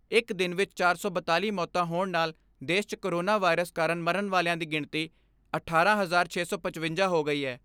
ਇਕ ਦਿਨ ਵਿਚ ਚਾਰ ਸੌ ਬਿਆਲੀ ਮੌਤਾਂ ਹੋਣ ਨਾਲ ਦੇਸ਼ 'ਚ ਕੋਰੋਨਾ ਵਾਇਰਸ ਕਾਰਨ ਮਰਨ ਵਾਲਿਆਂ ਦੀ ਗਿਣਤੀ ਅਠਾਰਾਂ ਹਜ਼ਾਰ ਛੇ ਸੌ ਪਚਵੰਜਾ ਹੋ ਗਈ ਐ।